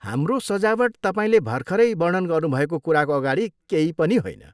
हाम्रो सजावट तपाईँले भर्खरै वर्णन गर्नुभएको कुराको अगाडि केही पनि होइन।